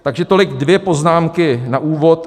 Takže tolik dvě poznámky na úvod.